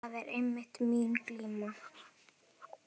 Það er einmitt mín glíma.